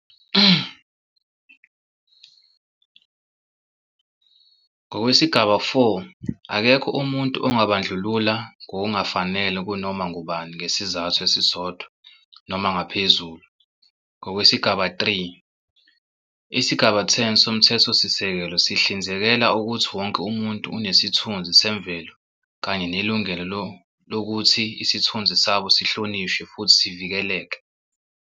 Ngokwesigaba four, akekho umuntu ongabandlulula ngokungafanele kunoma ngubani ngesizathu esisodwa noma ngaphezulu ngokwesigaba, 3. Isigaba 10 soMthethosisekelo sihlinzekela ukuthi "wonke umuntu unesithunzi semvelo kanye nelungelo lokuthi isithunzi sabo sihlonishwe futhi sivikelwe."